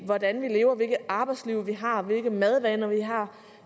hvordan vi lever hvilket arbejdsliv vi har hvilke madvaner vi har